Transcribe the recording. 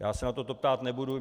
Já se na toto ptát nebudu.